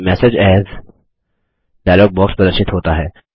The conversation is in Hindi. save message as dialog box प्रदर्शित होता है